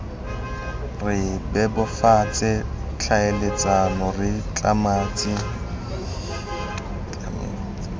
re bebofatse tlhaeletsano re tlametse